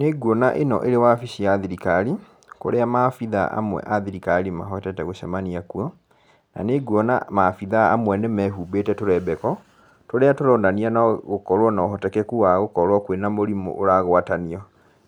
Nĩ nguona ĩno ĩrĩ wabici ya thirikari, kũrĩa maabithaa amwe a thirikari mahotete gũcamania kuo, na nĩ nguona maabitha amwe nĩ mehumbĩte tũrembeko, tũrĩa tũronania no gũkorwo na ũhotekeku wa gũkorwo kwĩna mũrimũ ũragwatanio.